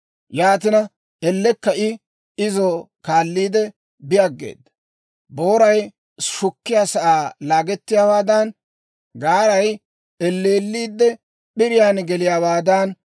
Yaatina, ellekka I izo kaalliide, bi aggeeda. Booray shukkiyaasaa laagettiyaawaadan, gaaray elleelliide p'iriyaan geliyaawaadan,